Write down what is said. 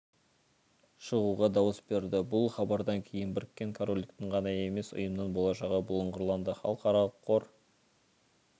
шығуға дауыс берді бұл хабардан кейін біріккен корольдіктің ғана емес ұйымның болашағы бұлыңғырланды халықаралық қор